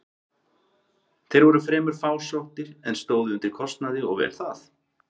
Þeir voru fremur fásóttir, en stóðu undir kostnaði og vel það.